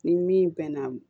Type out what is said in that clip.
Ni min bɛ na